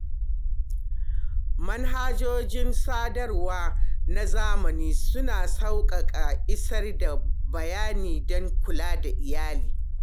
Manhajojin sadarwa na zamani suna sauƙaƙa isar da bayanai don kula da iyali.